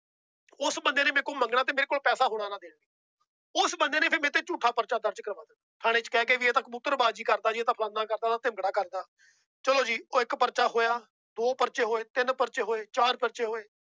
ਉਸ ਬੰਦੇ ਨੇ ਮੇਰੇ ਕੋਲੋਂ ਮੰਗਣਾ ਤੇ ਮੇਰੇ ਕੋਲ ਪੈਸਾ ਹੋਣਾ ਨਾ ਦੇਣ, ਉਸ ਬੰਦੇ ਨੇ ਫਿਰ ਮੇਰੇ ਤੇ ਝੂਠਾ ਪਰਚਾ ਦਰਜ਼ ਕਰਵਾ ਦਿੱਤਾ, ਥਾਣੇ ਚ ਕਹਿ ਕੇ ਵੀ ਇਹ ਤਾਂ ਕਬੂਤਰਬਾਜੀ ਕਰਦਾ ਇਹ ਤਾਂ ਫਲਾਨਾ ਕਰਦਾ ਵਾ ਧਿਮਕੜਾ ਕਰਦਾ, ਚਲੋ ਜੀ ਉਹ ਇੱਕ ਪਰਚਾ ਹੋਇਆ, ਦੋ ਪਰਚੇ ਹੋਏ, ਤਿੰਨ ਪਰਚੇ ਹੋਏ, ਚਾਰ ਪਰਚੇ ਹੋਏ